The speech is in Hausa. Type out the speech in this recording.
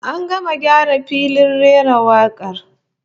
An gama gyara filin rera wakar